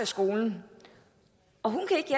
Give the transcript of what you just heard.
skolen og hun kan ikke